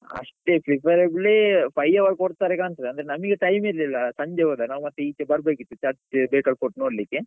ಅಷ್ಟೆ preferably five hour ಕೊಡ್ತಾರೆ ಕಾಣ್ತದೆ ಅಂದ್ರೆ ನಮಿಗೆ time ಇರ್ಲಿಲ್ಲ ಸಂಜೆ ಹೋದದ್ದು ನಾವ್ ಮತ್ತೆ ಈಚೆ ಬರ್ಬೇಕಿತ್ತು church bekal fort ನೋಡ್ಲಿಕ್ಕೆ.